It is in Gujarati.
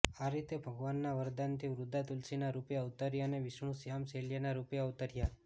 આ રીતે ભગવાનના વરદાનથી વૃંદા તુલસીના રૂપે અવતરી અને વિષ્ણુ શ્યામ શૈલ્યના રૂપે અવતર્યા